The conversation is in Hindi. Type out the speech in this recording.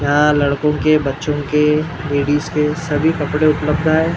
यहां लड़कों के बच्चों के लेडिज के सभी कपड़े उपलब्ध है।